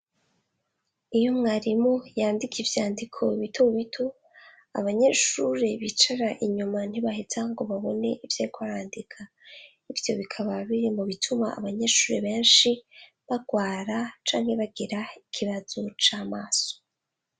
Iyo mwarimu yandika ivyandiko bitomu bito abanyeshure bicara inyuma ntibaheza ngo babone ivyekoarandika ivyo bikaba birimbo bituma abanyeshure benshi barwara canke bagira ikibazo c'amaso.